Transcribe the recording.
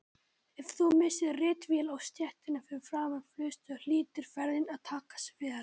Ef þú missir ritvél á stéttina fyrir framan flugstöð hlýtur ferðin að takast vel.